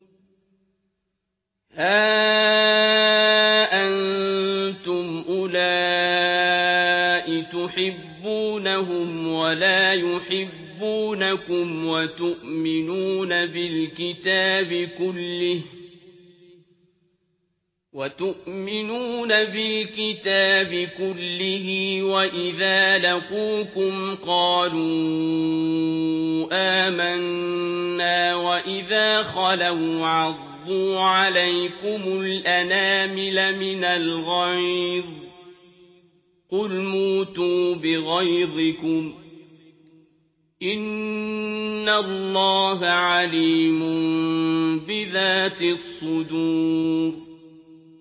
هَا أَنتُمْ أُولَاءِ تُحِبُّونَهُمْ وَلَا يُحِبُّونَكُمْ وَتُؤْمِنُونَ بِالْكِتَابِ كُلِّهِ وَإِذَا لَقُوكُمْ قَالُوا آمَنَّا وَإِذَا خَلَوْا عَضُّوا عَلَيْكُمُ الْأَنَامِلَ مِنَ الْغَيْظِ ۚ قُلْ مُوتُوا بِغَيْظِكُمْ ۗ إِنَّ اللَّهَ عَلِيمٌ بِذَاتِ الصُّدُورِ